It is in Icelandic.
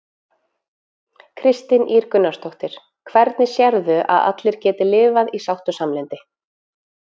Kristín Ýr Gunnarsdóttir: Hvernig sérðu að allir geti lifað í sátt og samlyndi?